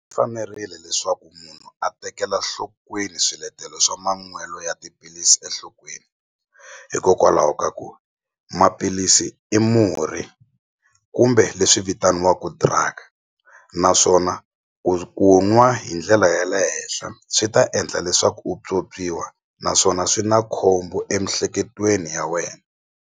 Fanerile leswaku munhu a tekela nhlokweni swiletelo swa manwelo ya tiphilisi enhlokweni hikokwalaho ka ku maphilisi i murhi kumbe leswi vitaniwaku drug naswona ku nwa hi ndlela ya le henhla swi ta endla leswaku u naswona swi na khombo emihleketweni ya wena.